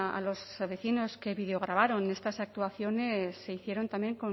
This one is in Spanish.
a los vecinos que videograbaron estas actuaciones se hicieron también